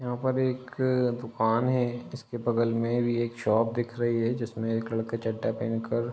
यहाँ पर एक अ- दुकान है जिसके बगल में भी एक शॉप दिख रही है जिसमें एक लड़का चड्ढा पहन कर --